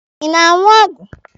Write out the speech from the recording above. Ị na-aṅụ ọgwụ?